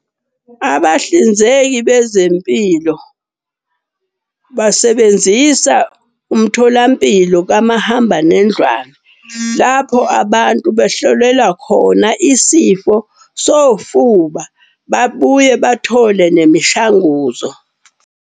Abahlinzeki bezempilo basebenzisa umtholampilo kamahambanendlwane. Lapho abantu behlolelwa khona isifo sofuba, babuye bathole nemishanguzo.